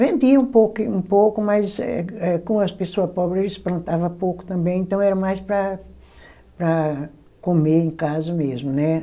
Vendia um pouco, um pouco mas eh, eh com as pessoas pobre eles plantava pouco também, então era mais para, para comer em casa mesmo, né.